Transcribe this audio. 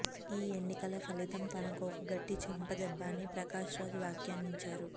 ఈ ఎన్నికల ఫలితం తనకు ఒక గట్టి చెంపదెబ్బ అని ప్రకాష్రాజ్ వ్యాఖ్యానించారు